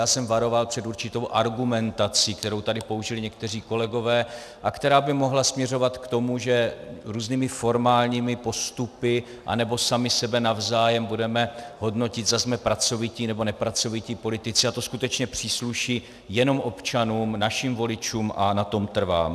Já jsem varoval před určitou argumentací, kterou tady použili někteří kolegové a která by mohla směřovat k tomu, že různými formálními postupy anebo sami sebe navzájem budeme hodnotit, zda jsme pracovití, nebo nepracovití politici, a to skutečně přísluší jenom občanům, našim voličům, a na tom trvám.